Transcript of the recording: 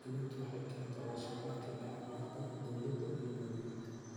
Diiwaangelintu waxay keentaa wada shaqayn dhex marta dawladda iyo muwaadiniinta.